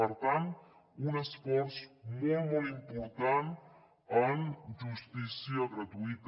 per tant un esforç molt molt important en justícia gratuïta